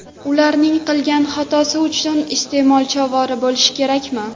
Ularning qilgan xatosi uchun iste’molchi ovora bo‘lishi kerakmi?